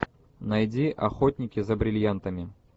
найди охотники за бриллиантами